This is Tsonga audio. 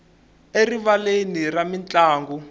erivaleni ra mintlangu